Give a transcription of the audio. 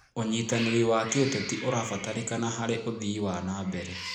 ũnyitanĩri wa kĩũteti ũrabataranĩka harĩ ũthii wa na mbere.